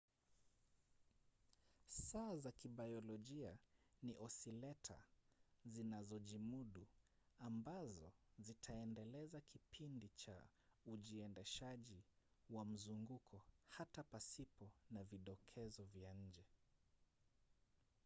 saa za kibiolojia ni osileta zinazojimudu ambazo zitaendeleza kipindi cha ujiendeshaji wa mzunguko hata pasipo na vidokezo vya nje